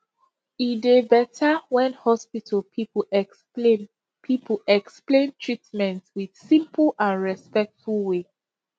e dey better when hospital people explain people explain treatment with simple and respectful way